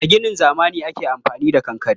A ginin zamani ake amfani da kankare.